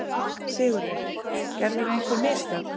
SIGURÐUR: Gerðirðu einhver mistök?